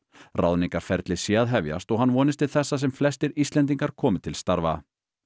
ráðningarferli sé að hefjast og hann vonist til þess að sem flestir Íslendingar komi til starfa